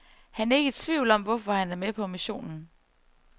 Han er ikke i tvivl om, hvorfor han er med på missionen.